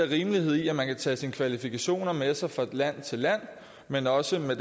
rimeligheden i at man kan tage sine kvalifikationer med sig fra land til land men også under